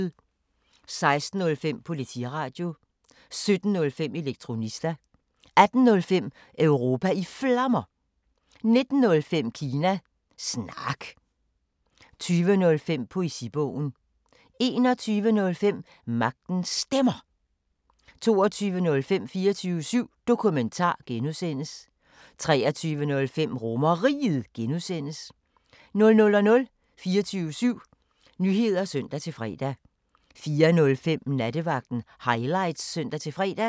16:05: Politiradio 17:05: Elektronista 18:05: Europa i Flammer 19:05: Kina Snak 20:05: Poesibogen 21:05: Magtens Stemmer 22:05: 24syv Dokumentar (G) 23:05: RomerRiget (G) 00:00: 24syv Nyheder (søn-fre) 04:05: Nattevagten Highlights (søn-fre)